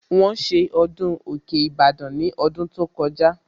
Wọ́n ṣe ọdún òkè Ìbàdàn ní ọdún tó kọjá